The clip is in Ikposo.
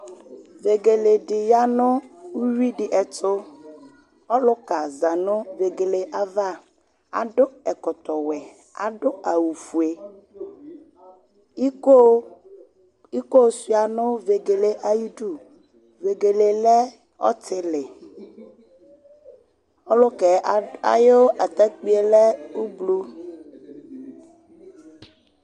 Vegele dɩ ya nʊwui di etʊ Ɔlʊka za nʊ vegele yɛ ava, adʊ ɛkɔtɔ wɛ nʊ awʊ fue Ɩko sua nu vegele ayidu Vegele lɛ ɔtɩlɩ Ɔlʊkɛ ayʊ atakpui lɛ ublɔr